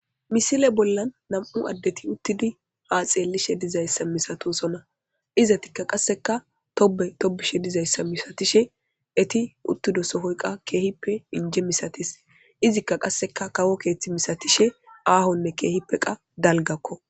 Misile bollan nam7u addethi uththidi haa xeellishe dizayssa misathoosona; izathikka qasseka tobbe tobbishe dizayssa misathishe ethi uththido sohoy qa keehippe injje misathes; izikka qasseka kawo keeththi misathishe aahonne keehippe qa dalgakko.